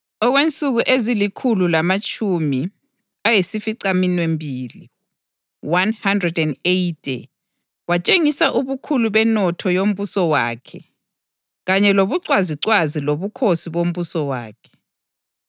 Okwensuku ezilikhulu lamatshumi ayisificaminwembili (180) watshengisa ubukhulu benotho yombuso wakhe kanye lobucwazicwazi lobukhosi bombuso wakhe.